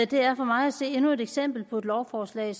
det er for mig at se endnu et eksempel på et lovforslag